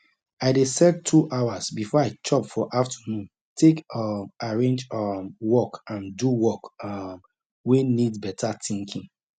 i dey set 2 hours before i chop for afternoon take um arrange um work and do work um wey need beta thinkinng